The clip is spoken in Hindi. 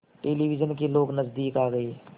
टेलिविज़न के लोग नज़दीक आ गए